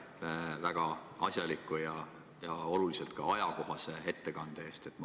Aitäh väga asjaliku ja ajakohase ettekande eest!